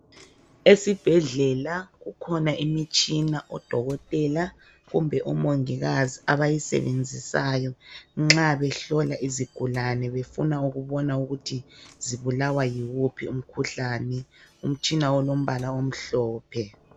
Esibhedlela kukhona imitshina odokotela kumbe omongikazi abayisebenzisayo nxa behlola izigulane befuna ukubona ukuthi zibulawa yiwuphi umkhuhlani. Utshina ulombala omhlophe.